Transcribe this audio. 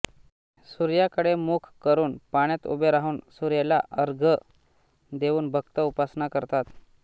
सूर्याकडे मुख करून पाण्यात उभे राहून सूर्याला अर्घ्य देऊन भक्त उपासना करतात